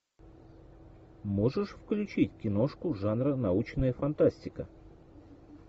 можешь включить киношку жанра научная фантастика